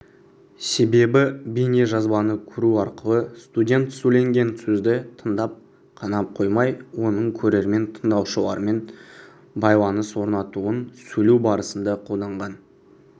себебі бейнежазбаны көру арқылы студент сөйленген сөзді тыңдап қана қоймай оның көрермен тыңдаушылармен байланыс орнатуын сөйлеу барысында қолданған